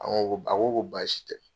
A ko ko baasi tɛ.